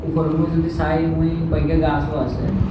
উপরের ছাই মুই কয়েকগগা গাছও আছে।